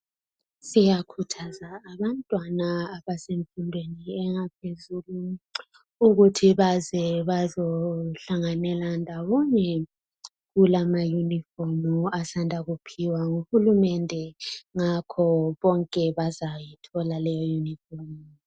Siyakhuthaza abantwana abasemfundweni yaphezulu ukuthi baze bazohlanganela ndawonye. Kulamayunifomu asanda kuphiwa nguhulumende ngakho bonke bazayithola leyoyunifomu.